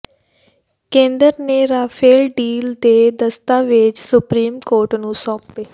ਕੇਂਦਰ ਨੇ Rafale deal ਦੇ ਦਸਤਾਵੇਜ਼ ਸੁਪਰੀਮ ਕੋਰਟ ਨੂੰ ਸੌਂਪੇ